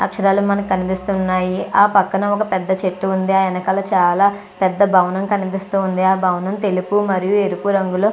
అక్షరాలు మనకి కనిపిస్తున్నాయి ఆ పక్కన ఒక పెద్ద చెట్టు ఉంది ఆ వెనకాల చాలా పెద్ద భవనం కనిపిస్తుంది ఆ భవనం తెలుపు మరియు ఎరుపు రంగులో --